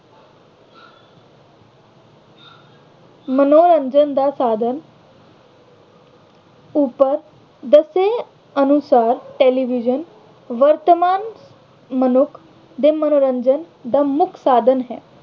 ਮੰਨੋਰੰਜਨ ਦਾ ਸਾਧਨ ਉੱਪਰ ਦੱਸੇ ਅਨੁਸਾਰ television ਵਰਤਮਾਨ ਮਨੁੱਖ ਦੇ ਮੰਨੋਰੰਜਨ ਦਾ ਮੁੱਖ ਸਾਧਨ ਹੈ।